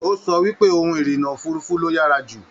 O sọ wípé òhun irinna òfurùnfu ló yára jù.